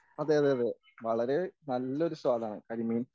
അതെ അതെ അതെ വളരെ നല്ലൊരു സ്വാദാണ് കരിമീൻ